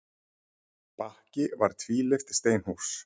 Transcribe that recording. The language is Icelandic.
Bakki var tvílyft steinhús.